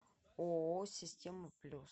ооо система плюс